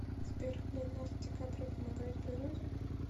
сбер леонардо ди каприо помогает природе